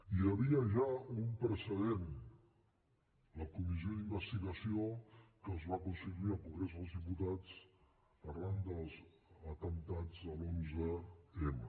hi havia ja un precedent la comissió d’investigació que es va constituir al congrés dels diputats arran dels atemptats de l’onze m